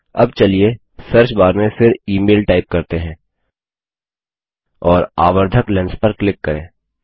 अब चलिए सर्चबार में फिर इमेल टाइप करते हैं और आवर्धक लेंस पर क्लिक करें